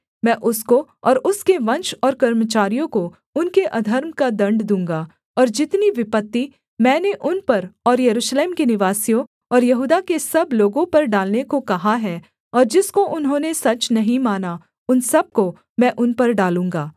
मैं उसको और उसके वंश और कर्मचारियों को उनके अधर्म का दण्ड दूँगा और जितनी विपत्ति मैंने उन पर और यरूशलेम के निवासियों और यहूदा के सब लोगों पर डालने को कहा है और जिसको उन्होंने सच नहीं माना उन सब को मैं उन पर डालूँगा